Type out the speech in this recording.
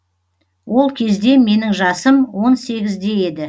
ол кезде менің жасым он сегізде еді